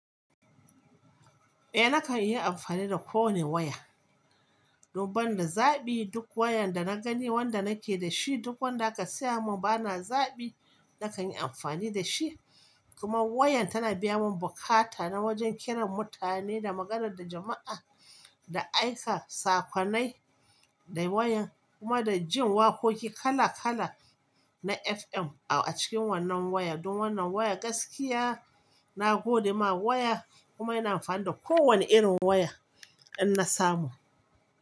Eh nakan yi amfani da kowane waya. Don banda zaɓi duk wayan da na gani wanda nake da shi duk wanda aka saya mun bana zaɓi nakan yi amfani da shi. Kuma wayan tana biya mun bukata na wajen kiran mutane da magana da jama'a, da aika sakonai da wayan kuma da jin wakoki kala kala na FM a cikin wannan waya. Don wannan waya gaskiya na gode ma waya kuma ina amfani da ko wanne irin waya ina samu.